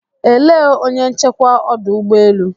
Elee onye nchekwa ọdụ ụgbọ elu?